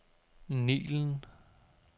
Nilen